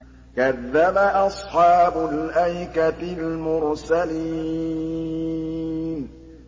كَذَّبَ أَصْحَابُ الْأَيْكَةِ الْمُرْسَلِينَ